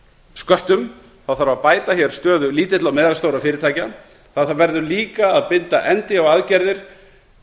sköttum þarf að bæta hér stöðu lítilla og meðalstórra fyrirtækja það verður líka að binda endi á aðgerðir